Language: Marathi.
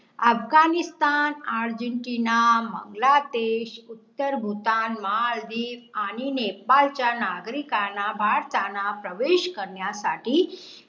अफगाणिस्तान, अर्जेन्टिना, बांगलादेश, उत्तर भूतान, मालदिव आणि नेपाळ च्या नागरीकाना भारताना प्रवेश करण्या साठी